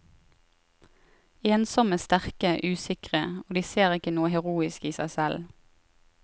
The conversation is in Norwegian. Ensomme, sterke, usikre, og de ser ikke noe heroisk i seg selv.